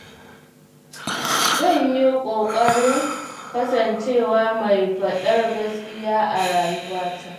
Zan yi ƙoƙarin kasancewa mai faɗar gaskiya a rayuwa ta.